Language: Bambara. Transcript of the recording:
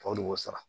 Tɔw de b'o sara